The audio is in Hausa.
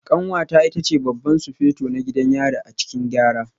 Kanwata ita ce Babban Sufeto na gidan yari a cikin Gyara